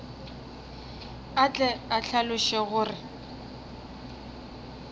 a tle a hlaloše gore